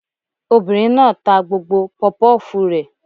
Obìnrin náà ta gbogbo pọpọ́fùù rẹ̀